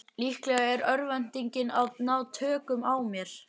Líklega er örvæntingin að ná tökum á mér.